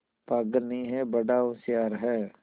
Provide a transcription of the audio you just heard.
पागल नहीं हैं बड़ा होशियार है